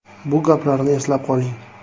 Bu gaplarni eslab qoling.